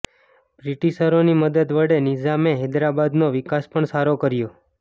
બ્રિટિશરોની મદદ વડે નિઝામે હૈદરાબાદનો વિકાસ પણ સારો કર્યો